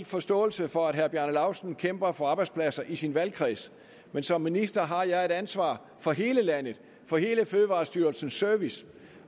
forståelse for at herre bjarne laustsen kæmper for arbejdspladser i sin valgkreds men som minister har jeg et ansvar for hele landet for hele fødevarestyrelsens service